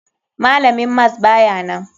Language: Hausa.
Malamin mas bayanan.